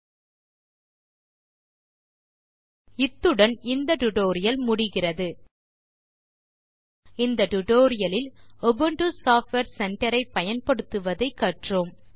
ல்ட்பாசெக்ட் இத்துடன் இந்த டியூட்டோரியல் முடிகிறது இந்த டியூட்டோரியல் இல் உபுண்டு சாஃப்ட்வேர் சென்டர் ஐ பயன்படுத்துவதை கற்றோம்